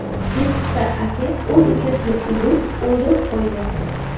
Nukusda aka o‘z ukasini urib, o‘ldirib qo‘ydi.